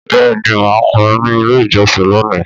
Bẹ́ẹ̀ ni, mà á kọrin ní Ilé-ìjọsìn lónìí.